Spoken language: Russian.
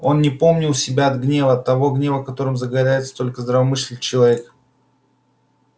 он не помнил себя от гнева того гнева которым загорается только здравомыслящий человек